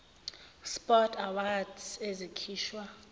sport awards ezikhishwa